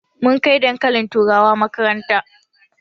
Mun kai dankalin turawa makaranta